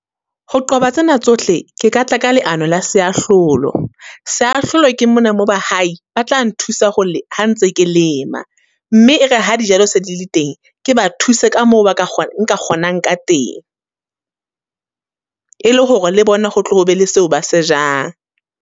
Ho qoba tsena tsohle, ke katla ka leano la seahlolo. Seahlolo ke mona mo bahai, ba tla nthusa ho le, ha ntse ke lema. Mme e re ha dijalo se dile teng, ke ba thuse ka moo ba ka, nka kgonang ka teng. E le hore le bona ho tle ho be le seo ba se jang.